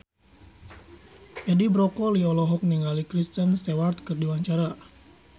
Edi Brokoli olohok ningali Kristen Stewart keur diwawancara